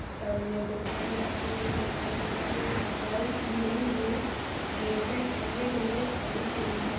सामने बूके भी रखी हुई दिखाई दे रही है और डॉल्स न्यू न्यू ड्रेसे पहने हुई खड़ी हुई है।